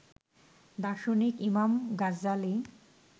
দার্শনিক ইমাম গাজ্জ্বালী